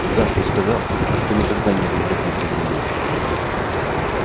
удав мне сказал что никогда не был в родной бразилии